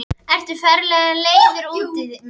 Ertu ferlega leiður út í mig?